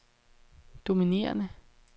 dominerende